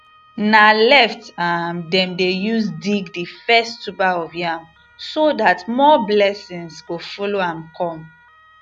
na left um dem dey use dig the first tuber of yam so that more blessings go follow am come